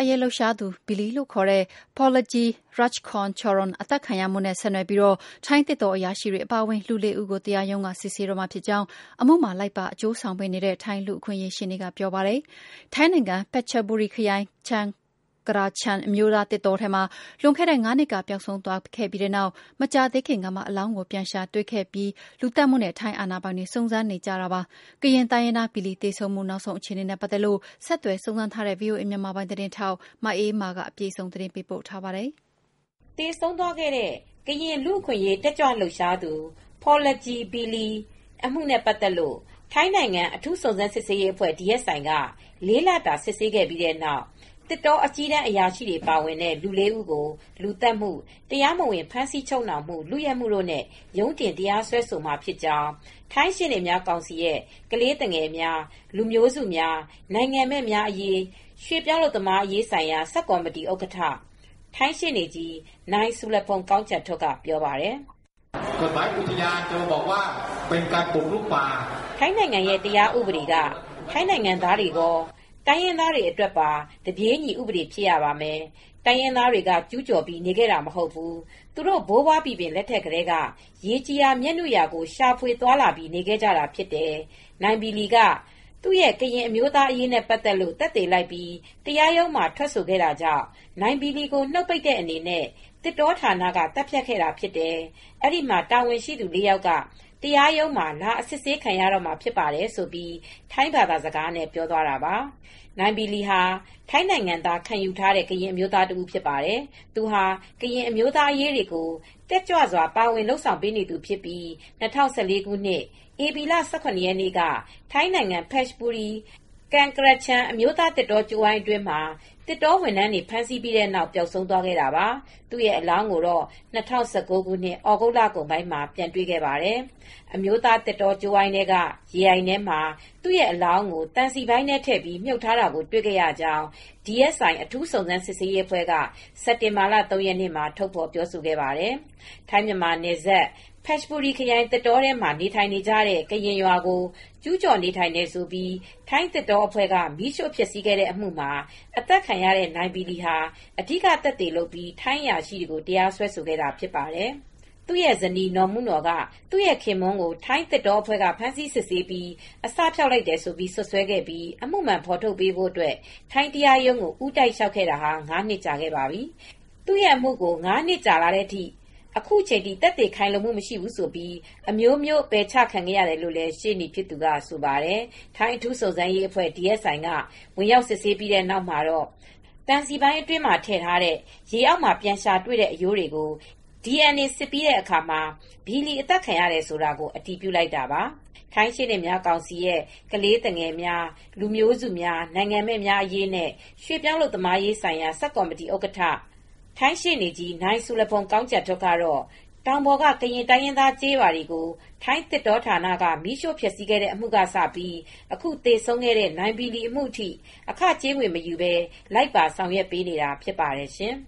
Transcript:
အရေး လှုပ်ရှားသူ Billy ခေါ် Porlajee Rakchongcharoen သတ်ဖြတ်ခံရမှုနဲ့ ဆက်နွယ်ပြီး ထိုင်းသစ်တော အရာရှိတွေ အပါအဝင် လူ ၄ ဦးကို တရားရုံးက စစ်ဆေးတော့မှာဖြစ်ကြောင်း အမှုမှာလိုက်ပါ အကျိုုးဆောင်ပေးနေတဲ့ ထိုင်းလူ့အခွင့်အရေး ရှေ့နေက ပြောပါတယ်။ ထိုင်းနိုင်ငံ Phetchaburi ခရိုင် Kaeng Krachan အမျိုးသားသစ်တောထဲမှာ လွန်ခဲ့တဲ့ ၅ နှစ်ကပျောက်ဆုံးသွားခဲ့ပြီးနောက် မကြာသေးခင်ကမှ အလောင်းကို ပြန်ရှာတွေ့ခဲ့ပြီးနောက် လူသတ်မှုနဲ့ ထိုင်းအာဏာပိုင်တွေ စုံစမ်းစစ်ဆေးနေကြတာပါ။ ကရင်တိုင်းရင်းသား Billy သေဆုံးမှု နောက်ဆုံးအခြေအနေနဲ့ ပတ်သက်လို့ ဆက်သွယ်စုံစမ်းထားတဲ့ ဗွီအိုအေ မြန်မာပိုင်း ထိုင်းအခြေစိုက် သတင်းထောက် မအေးအေးမာက သတင်းပေးပို့ထားပါတယ်။ သေဆုံးသွားတဲ့ ကရင် လူ့အခွင့်အရေး တက်ကြွလှုပ်ရှားသူ Porlajee "Billy" Rakchongcharoen အမှုနဲ့ ပတ်သက်လို့ ထိုင်းနိုင်ငံ အထူးစုံစမ်းစစ်ဆေးရေးအဖွဲ့ DSI က လေးလတာ စစ်ဆေးခဲ့ပြီးတဲ့နောက် သစ်တောအကြီးတန်း အရာရှိတွေ ပါဝင်နေတဲ့ လေး ဦးကို လူသတ်မှု၊ တရားမဝင် ဖမ်းဆီးချုပ်နှောင်မှု၊ လုယက်မှုတို့နဲ့ ရုံးတင်တရားစွဲမှာ ဖြစ်ကြောင်း ထိုင်းရှေ့နေများကောင်စီရဲ့ ကလေးသူငယ်များ လူမျိုးစုများ နိုင်ငံမဲ့များ အရေးနဲ့ ရွှေ့ပြောင်း အလုပ်သမားရေးဆိုင်ရာ ဆပ်ကော်မတီဥက္ကဋ္ဌ ထိုင်းရှေ့နေကြီး နိုင်ဆူရဖုန်း Surapong Kongchantuk က ပြောပါတယ်။ “ထိုင်းနိုင်ငံရဲ့ တရားဥပဒေက ထိုင်းနိုင်ငံသားတွေကော၊ တိုင်းရင်းသားတွေအတွက်ပါ တပြေးညီဥပဒေဖြစ်ရမယ်။ တိုင်းရင်းသားတွေက ကျူးကျော်ပြီး နေခဲ့တာ မဟုတ်ဘူး။ သူတို့ ဘိုးဘွားဘီဘင် လက်ထက်ကတည်းက ရေကြည်ရာမြက်နုရာကို ရှာဖွေသွားလာပြီး နေခဲ့ကြတာ ဖြစ်တယ်။ နိုင်ဘီလီက သူ ကရင်အမျိုးသားတွေအရေးနဲ ပတ်သက်လို့ သက်သေလိုက်ပြီး တရားရုံးမှာ ထွက်ဆိုခဲ့လို့ နိုင်ဘီလီကိုနှုတ်ပိတ်တဲ့ အနေနဲ့ သစ်တောဌာနက သတ်ဖြတ်ခဲ့တာ ဖြစ်တယ်။ အဲဒီ မှာတာဝန်ရှိသူ လေး ယောက်က တရားရုံးမှာ လာအစစ်ဆေးခံရတော့မှာ ဖြစ်ပါတယ်။” ထိုင်းဘာသာစကားနဲ့ ပြောသွားတာပါ။ နိုင်ဘီလီယာ ထိုင်းနိုင်ငံသား ခံယူထားတဲ့ ကရင်လူမျိုး တဦး ဖြစ်ပါတယ်။ သူဟာ ကရင်အမျိုးသားအရေးတွေကို တက်ကြွစွာ ပါဝင် လုပ်ဆောင်ပေးနေသူဖြစ်ပြီး ၂၀၁၄ ခုနှစ် ပြီလ ၁၇ ရက်နေ့က ထိုင်းနိုင်ငံ ဖက်ချဘူရီခရိုင်၊ ကန်ကရချန် အမျိုးသား သစ်တောကြိုးဝိုင်း အတွင်းမှာ သစ်တောဝန်ထမ်းတွေ ဖမ်းဆီးပြီးနောက် ပျောက်ဆုံးသွားခဲ့တာပါ။ သူ့ရဲ အလောင်းကိုတော့ ၂၀၁၉ ခု သြဂုတ်လ လကုန်ပိုင်းမှာ ပြန်တွေ့ခဲ့ပါတယ်။ အမျိုးသား သစ်တောကြိုးဝိုင်းထဲက ရေအိုင်ထဲမှာ သူအလောင်းကို သံစည်ပိုင်းထဲထည့်ပြီး မြှုပ်ထားတာကို တွေခဲ့ရကြောင်း DSI အထူးစုံစမ်းစစ်ဆေးရေးအဖွဲ့က စက်တင်ဘာလ ၃ ရက်နေ့မှာ ထုတ်ဖော်ခဲ့ပါတယ်။ ထိုင်းမြန်မာနယ်စပ်ဘက်ခ ျဘူရီ ခရိုင် သစ်တောထဲမှာ နေထိုင်နေကြတဲ့ ကရင်ရွာကိုကျူးကျော်နေထိုင်တယ်ဆိုပြီး ထိုင်းသစ်တောအဖွဲ့က မီးရိူ့ဖျက်ဆီးခဲ့တဲ့ အမှုမှာ အသတ်ခံရတဲ့ နိုင်ဘီလီဟာ အဓိကသက်သေလုပ်ပြီး ထိုင်းအရာရှိတွေကို တရားစွဲဆို ခဲ့တာဖြစ်ပါတယ်။ သူရဲ့ဇနီးနော်။ မုနော်ကသူ့ရဲ့ခင်ပွန်း ကို ထိုင်းသစ်တောအဖွဲ့က ဖမ်းဆီးစစ်ဆေးပြီး အစဖျောက်လိုက်တယ်လို့ စွပ်စွဲခဲ့ပြီး အမှုမှန် ဖေါ်ထုတ်ပေးဖို့ ထိုင်းတရားရုံးကို ဦးတိုက် လျောက်ထားခဲ့တာ ငါးနှစ်ကြာခဲ့ပါပြီ။ သူ့အမှုကို ငါးနှစ်ကြာလာတဲ့ အခုချိန်ထိ သက်သေ ခိုင်လုံမှု မရှိဘူးဆိုပြီး အမျိုးမျိုး ပယ်ချခံရတယ်လို့ ရှေနေ့ ဖြစ်သူက ဆိုပါတယ်။ ထိုင်း အထူးစုံစမ်းရေးအဖွဲ့DSI က ဝင်ရောက် စစ်ဆေးပြီးတဲ့နောက်မှာတော့ သံစည်ပိုင်းအတွင်းမှာ ထည့်ထားတဲ့ ရေအောက်မှာ ပြန်ရှာတွေ့တဲ့ အရိုးတွေကို DNA စစ်ပြီးတဲ့အခါမှာ ဘီလီ အသတ်ခံရတယ်ဆိုတာ အတည်ပြုလိုက်တာပါ။ ထိုင်းရှေ့နေများကောင်စီရဲ့ ကလေးသူငယ်များ လူမျိုးစု များနိုင်ငံမဲ့များအရေးနဲ့ ရွှေ့ပြောင်းအလုပ်သမားရေးဆိုင်ရာ ဆပ်ကော်မတီဥက္ကဋ္ဌ ထိုင်းရှေ့နေကြီး နိုင်ဆူရဖုန်း Surapong Kongchantuk ကတော့ တောင်ပေါ်ကရင် တိုင်းရင်းသားတွေ ကျေးရွာကို ထိုင်းသစ်တောဌာနက မီးရှို့ ဖျက်ဆီးခဲ့တဲ့အမူကစပြီး အခုသေဆုံးခဲ့တဲ့ နိုင်ဘီလီအမူထိ အခ ကြေးငွေမယူဘဲ လိုက်ပါဆောင်ရွက်ပေးနေတာ ဖြစ်ပါတယ်ရှင်